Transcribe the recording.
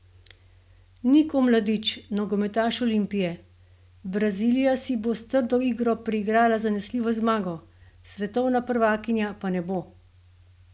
Nik Omladič, nogometaš Olimpije: 'Brazilija si bo s trdo igro priigrala zanesljivo zmago, svetovna prvakinja pa ne bo.